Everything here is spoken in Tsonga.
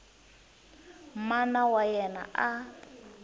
mana wa yena a a